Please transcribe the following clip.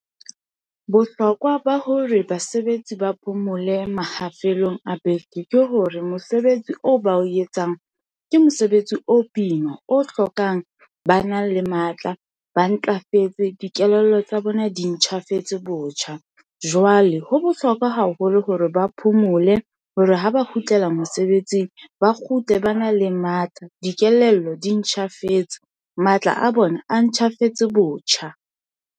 Bohlokwa ba hore basebetsi ba phomole a beke ke hore mosebetsi oo ba o etsang ke mosebetsi o boima, o hlokang bana le matla, ba ntlafetse, dikelello tsa bona di ntjhafetse botjha. Jwale ho bohlokwa haholo hore ba phomole hore ha ba kgutlela mosebetsing, ba kgutle bana le matla. Dikelello di ntjhafetse, matla a bona a ntjhafetse botjha.